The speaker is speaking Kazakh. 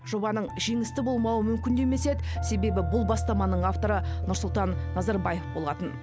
жобаның жеңісті болмауы мүмкін де емес еді себебі бұл бастаманың авторы нұрсұлтан назарбаев болатын